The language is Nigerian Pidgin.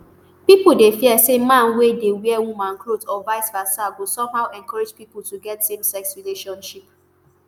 pipo dey fear say man wey dey wear woman clothes or viceversa go somehow encourage pipo to get samesex relationship